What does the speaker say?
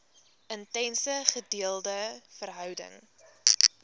intense gedeelde verhouding